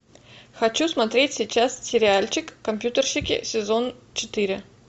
хочу смотреть сейчас сериальчик компьютерщики сезон четыре